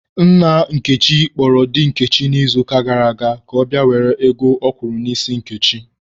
Nna Nkechi kpọrọ di Nkechi n'izuụka gara aga ka ọ bịa were ego ọ kwụrụ n'isi Nkechi.